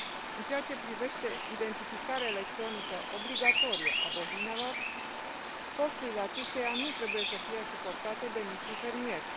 În ceea ce privește identificarea electronică obligatorie a bovinelor, costurile acesteia nu trebuie să fie suportate de micii fermieri.